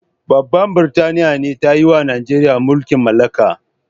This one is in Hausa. Babban burtaniya be tayiwa Nijeriya mulki'n mallaka.